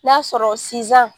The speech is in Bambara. N'i y'a sɔrɔ sinsan